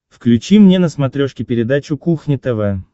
включи мне на смотрешке передачу кухня тв